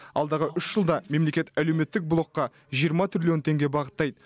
алдағы үш жылда мемлекет әлеуметтік блокқа жиырма трилллион теңге бағыттайды